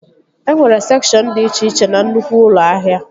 E nwere sekshọn dị iche iche na nnukwu ụlọ ahịa